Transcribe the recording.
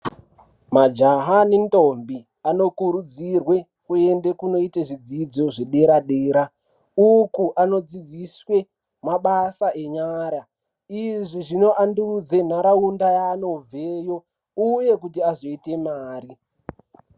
Majaha nendombi anokurudzirwe kunoite zvidzidzo zvedera-dera. Uku anodzidziswe mabasa enyara. Izvi zvinoandudze nharaunda yaanobveyo, uye kuti azoite mari.